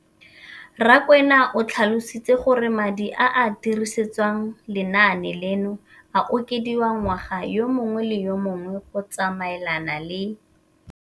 Rakwena o tlhalositse gore madi a a dirisediwang lenaane leno a okediwa ngwaga yo mongwe le yo mongwe go tsamaelana le